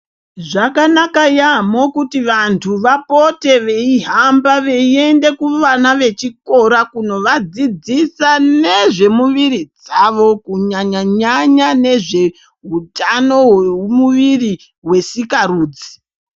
Zvakanaka yamho kuti vantu vapote veihamba veiende kuvana vechikora kunovadzidzisa nezvemuviri dzavo kunyanya nyanya nezvehwemuviri hwesika rudzi.